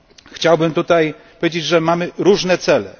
Chciałbym powiedzieć, że mamy różne cele.